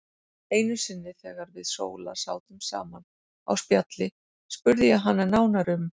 Einu sinni þegar við Sóla sátum saman á spjalli spurði ég hana nánar um